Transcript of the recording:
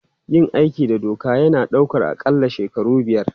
Yin aiki da doka yana ɗaukar aƙalla shekaru biyar.